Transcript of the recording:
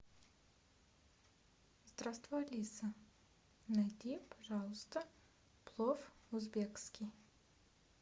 здравствуй алиса найди пожалуйста плов узбекский